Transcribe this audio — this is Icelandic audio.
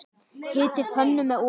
Hitið pönnu með olíu.